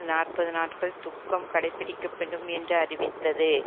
நாற்பது நாட்கள் துக்கம் கடைப்பிடிக்கப்படும் என்று அறிவித்தது